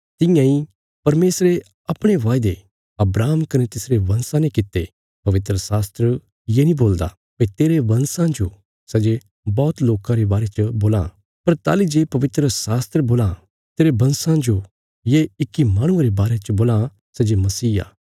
तियां इ परमेशरे अपणे वायदे अब्राहम कने तिसरे बंशा ने कित्ते पवित्रशास्त्र ये नीं बोलदा भई तेरे बंशां जो सै जे बौहत लोकां रे बारे च बोलां पर ताहली जे पवित्रशास्त्र बोलां तेरे बंशा जो ये इक्की माहणुये रे बारे च बोलां सै जे मसीह आ